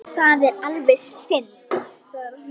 Það er alveg synd